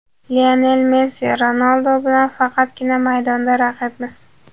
Lionel Messi: Ronaldu bilan faqatgina maydonda raqibmiz.